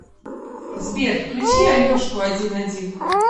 сбер включи алешку один один